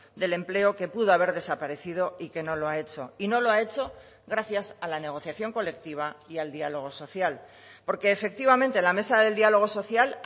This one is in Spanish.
del empleo que pudo haber desaparecido y que no lo ha hecho y no lo ha hecho gracias a la negociación colectiva y al diálogo social porque efectivamente la mesa del diálogo social